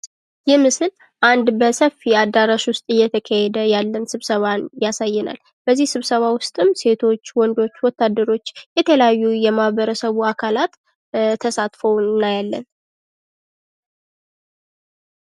ይህ ምስል አንድ በሰፊ አዳራሽ ውስጥ እየተካሄደ ያለ ስብሰባን ያሳየናል። በዚህ ስብሰባ ውስጥም ሴቶች ወንዶች ወታደሮች የተለያዩ የማህበረሰቡ አካላት ተሳትፈው እናያለን።